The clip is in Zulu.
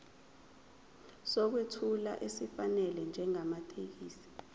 sokwethula esifanele njengamathekisthi